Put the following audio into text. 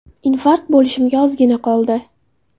Infarkt bo‘lishimga ozgina qoldi.